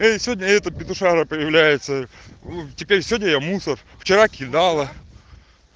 ии сегодня этот петушара появляется теперь сегодня я мусор вчера кидала